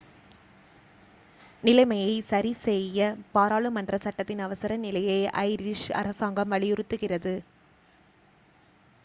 நிலைமையைச் சரிசெய்ய பாராளுமன்ற சட்டத்தின் அவசர நிலையை ஐரிஷ் அரசாங்கம் வலியுறுத்துகிறது